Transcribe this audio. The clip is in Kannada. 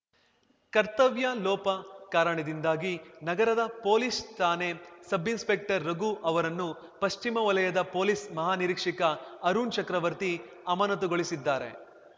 ಕರ್ತವ್ಯಲೋಪ ಕಾರಣದಿಂದಾಗಿ ನಗರದ ಪೊಲೀಸ್‌ ಠಾಣೆ ಸಬ್‌ ಇನ್‌ಸ್ಪೆಕ್ಟರ್‌ ರಘು ಅವರನ್ನು ಪಶ್ಚಿಮ ವಲಯದ ಪೊಲೀಸ್‌ ಮಹಾನಿರೀಕ್ಷಕ ಅರುಣ್‌ ಚಕ್ರವರ್ತಿ ಅಮಾನತುಗೊಳಿಸಿದ್ದಾರೆ